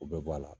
O bɛɛ bɔ a la